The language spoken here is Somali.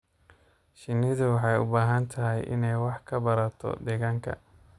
Shinnidu waxay u baahan tahay inay wax ka barato deegaanka.